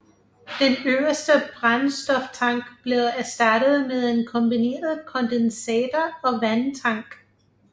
Den øverste brændstoftank blev erstattet med en kombineret kondensator og vandtank